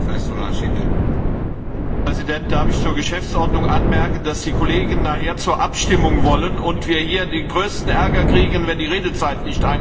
Herr Präsident! Darf ich zur Geschäftsordnung anmerken, dass die Kollegen nachher zur Abstimmung wollen und wir hier den größten Ärger kriegen, wenn die Redezeiten nicht eingehalten werden!